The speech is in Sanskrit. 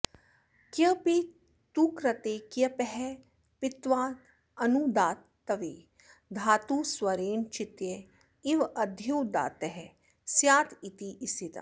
क्यपि तुकृते क्यपः पित्त्वादनुदात्तत्वे धातुस्वरेण चित्य इवाद्युदात्तः स्यादिति स्थितम्